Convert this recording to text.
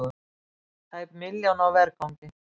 Tæp milljón á vergangi